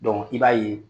i b'a ye